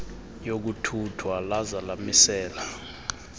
yokuthuthwa laza lamisela